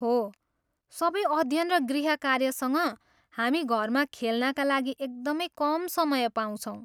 हो, सबै अध्ययन र गृहकार्यसँग, हामी घरमा खेल्नाका लागि एकदमै कम समय पाउँछौँ।